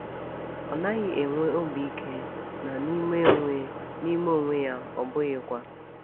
Ọ naghị enwe obi ike, na n’ime onwe n’ime onwe ya, ọ bụghịkwa.